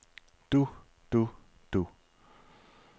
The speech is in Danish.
du du du